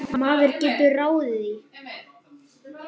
Maður getur ráðið því.